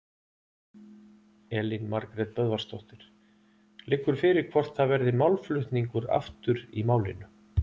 Elín Margrét Böðvarsdóttir: Liggur fyrir hvort það verði málflutningur aftur í málinu?